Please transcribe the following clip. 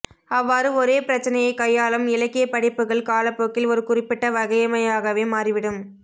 அவ்வாறு ஒரே பிரச்சினையைக் கையாளும் இலக்கியப்படைப்புகள் காலப்போக்கில் ஒரு குறிப்பிட்ட வகைமையாகவே மாறிவிடும்